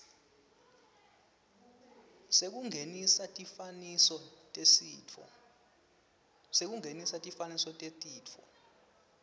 sekungenisa tifananiso tetifo